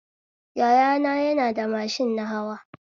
Yaya na yana da mashin nahawa